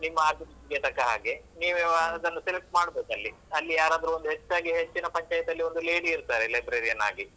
ನಿಮ್ಮ ಅಗತ್ಯಕ್ಕೆ ತಕ್ಕ ಹಾಗೆ ನೀವು ಯಾವುದಾದ್ರೂ select ಮಾಡ್ಬೇಕಲ್ಲಿ. ಅಲ್ಲಿ ಯಾರಾದ್ರೂ ಒಂದು ಹೆಚ್ಚಾಗಿ ಹೆಚ್ಚಿನ ಪಂಚಾಯ್ತಿಯಲ್ಲಿ ಒಂದು lady ಇರ್ತಾರೆ librarian ಆಗಿ.